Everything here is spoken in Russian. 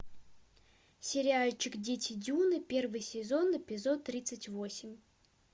сериальчик дети дюны первый сезон эпизод тридцать восемь